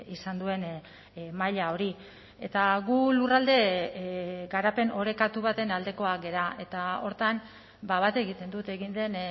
izan duen maila hori eta gu lurralde garapen orekatu baten aldekoak gara eta horretan bat egiten dut egin den